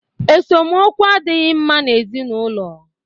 Esemokwu adịghị mma na ezinụlọ